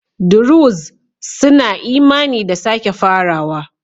Druze suna imani da sake farawa.